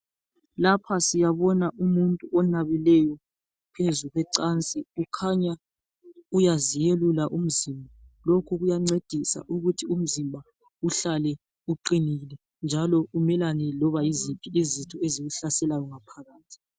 Lapha siyabona umuntu onabileyo phezu kwecansi, kukhanya uyaziyelula umzimba. Lokhu kuyancedisa ukuthi umzimba uhlale uqinile njalo umelane loba yiziphi izitha ezikuhlaselayo ngaphakathi.